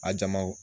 A jama wo